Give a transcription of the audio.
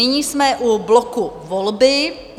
Nyní jsme u bloku Volby.